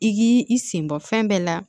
I k'i i sen bɔ fɛn bɛɛ la